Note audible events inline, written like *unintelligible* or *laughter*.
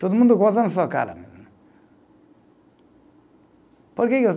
Todo mundo goza na sua cara mesmo né. Porque que *unintelligible*